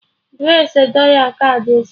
Jụọ ese dọla kaadị echi!